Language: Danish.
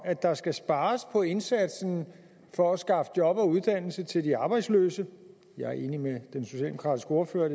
at der skal spares på indsatsen for at skaffe job og uddannelse til de arbejdsløse jeg er enig med den socialdemokratiske ordfører i